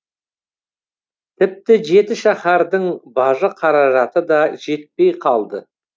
тіпті жетішаһардың бажы қаражаты да жетпей қалды